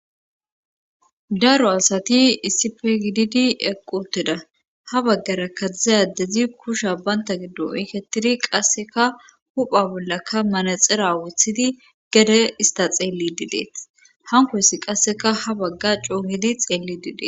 Daro asati issife gididi equteda ha baggara kadzdza adezi kusha baynta giddo iiketidi qasseka hupha bollaka manaxera wuthidi gede ista xeelli dideet hankoyssi qasseka ha bagga coonidi xeelli didee.